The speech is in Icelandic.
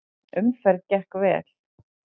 Umferð gekk vel.